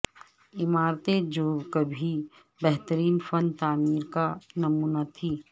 عمارتیں جو کبھی بہترین فن تعمیر کا نمونہ تھیں